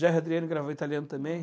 Jerry Adriano gravava em italiano também.